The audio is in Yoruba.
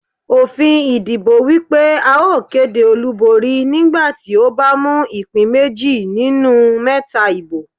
Òfin ìdìbò wípé a ó kéde olúborí nígbà tí ó bá mú ìpín méjì nínú mẹ́ta ibo.